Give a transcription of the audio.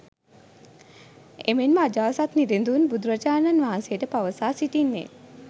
එමෙන්ම අජාසත් නිරිඳුන් බුදුරජාණන් වහන්සේට පවසා සිටින්නේ